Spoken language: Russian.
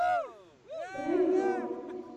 прыжок